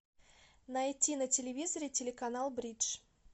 найти на телевизоре телеканал бридж